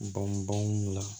Bɔn baganw la